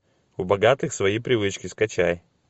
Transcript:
у богатых свои привычки скачай